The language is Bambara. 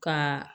Ka